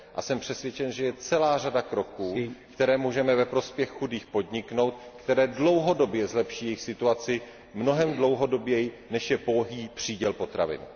Jsem přesvědčen, že je celá řada kroků, které můžeme ve prospěch chudých podniknout, které dlouhodobě zlepší jejich situaci, mnohem dlouhodoběji než je pouhý příděl potravin.